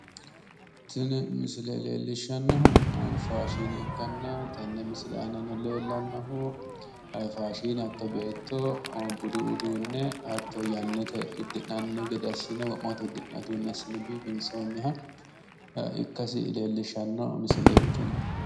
Tini misile leellishshannohu faashine ikkanna tenne misile aana leellannohu faashine hatto beetto budu udduunne hatto yannate uddi'nanni gede assine wo'ma woyte uddi'nanni uddunne assine biiffinsoonniha ikkasi leellisshanno misileeti tini.